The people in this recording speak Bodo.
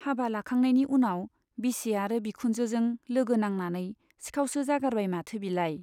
हाबा लाखांनायनि उनाव बिसि आरो बिखुनजोजों लौगो नांनानै सिखाउसो जागारबाय माथो बिलाय।